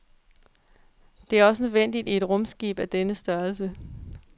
Det er også nødvendigt i et rumskib af denne størrelse.